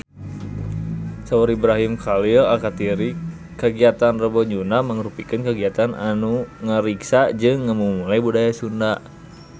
Saur Ibrahim Khalil Alkatiri kagiatan Rebo Nyunda mangrupikeun kagiatan anu ngariksa jeung ngamumule budaya Sunda